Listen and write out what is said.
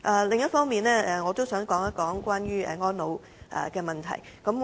另一方面，我亦想談談安老問題。